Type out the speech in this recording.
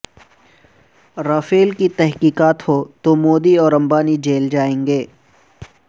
Rafale کی تحقیقات ہوں تو مودی اور امبانی جیل جائیں گے